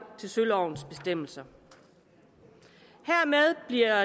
til sølovens bestemmelser hermed bliver